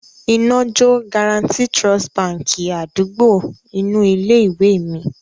Iná jó Guaranty Trust Báńkì àdúgbò inú ilé-ìwé mi.